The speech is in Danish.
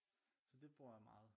Så det bruger jeg meget